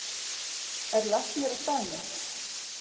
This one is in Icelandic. Er læknir á staðnum?